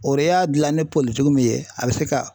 O re y'a dilan ni politigi min ye a bɛ se ka